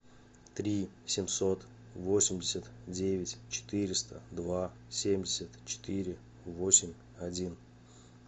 три семьсот восемьдесят девять четыреста два семьдесят четыре восемь один